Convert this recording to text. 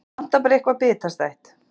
Vantar bara eitthvað bitastætt.